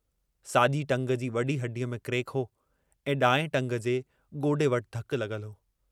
साॼी टंग जी वॾी हॾीअ में क्रेक हो ऐं ॾाएं टंग जे गोॾे वटि धकु लॻलु हो।